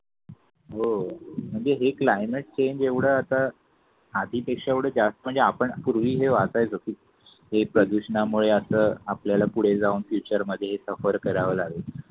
हो म्हणजे हे क्लायमेट चेंज एवढा आता आधीपेक्षा जास्त म्हणजे आपण पूर्वी हे वाचाय होत हे प्रदूषणामुळे आपल्याला पुढे जाऊन फ्युचर मध्ये सफर करावा लागेल.